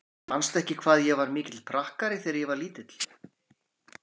Manstu ekki hvað ég var mikill prakkari þegar ég var lítil?